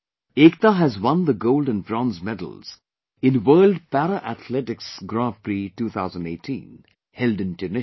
Ekta has won the gold and bronze medals in World Para Athletics Grand Prix 2018 held in Tunisia